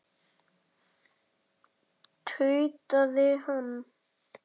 tautaði hann.